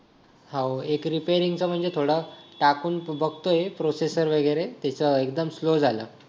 हा हो एक रिपेरिंग चा म्हणजे थोडा टाकून बघतोय प्रोसेसर वगैरे त्याचा एकदम स्लो झाला